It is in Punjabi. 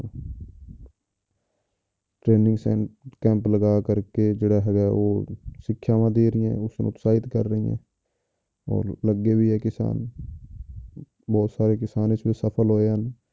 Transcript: Training ਸੈਂ~ camp ਲਗਾ ਕਰਕੇ ਜਿਹੜਾ ਹੈਗਾ ਉਹ ਸਿੱਖਿਆਵਾਂ ਦੇ ਰਹੀਆਂ ਉਸਨੂੰ ਉਤਸਾਹਿਤ ਕਰ ਰਹੀਆਂ ਔਰ ਲੱਗੇ ਵੀ ਹੈ ਕਿਸਾਨ ਬਹੁਤ ਸਾਰੇ ਕਿਸਾਨ ਇਸ ਵਿੱਚ ਸਫ਼ਲ ਹੋਏ ਹਨ।